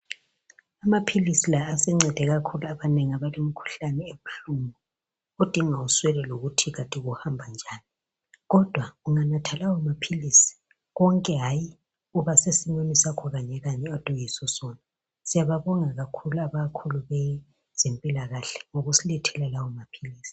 Amaphilisi la asencede kakhulu abanengi abalemikhuhlane ebuhlungu odinga uswele ukuthi kanti kuhamba njani kodwa unganatha lawomaphilisi konke hayi kuba sesimeni sakho kanye kanye okade uyisosona. Siyababongela abakhulu abezempilakahle ngokusilethela lawomaphilisi.